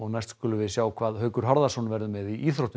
skulum við sjá hvað Haukur Harðarson verður með í íþróttum